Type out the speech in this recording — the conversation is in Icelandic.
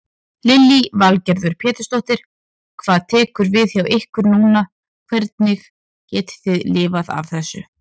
Lillý Valgerður Pétursdóttir: Hvað tekur við hjá ykkur núna, hvernig getið þið lifað af þessu?